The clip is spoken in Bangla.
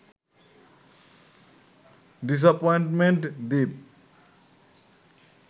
ডিস্যাপয়েন্টমেন্ট দ্বীপ